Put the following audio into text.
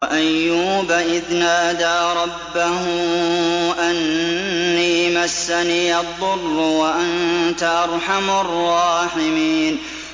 ۞ وَأَيُّوبَ إِذْ نَادَىٰ رَبَّهُ أَنِّي مَسَّنِيَ الضُّرُّ وَأَنتَ أَرْحَمُ الرَّاحِمِينَ